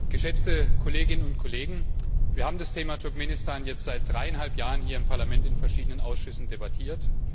Herr Präsident, geschätzte Kolleginnen und Kollegen! Wir haben das Thema Turkmenistan jetzt seit dreieinhalb Jahren hier im Parlament in verschiedenen Ausschüssen debattiert.